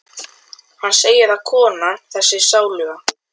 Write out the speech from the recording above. Hann segir að konan- þessi sáluga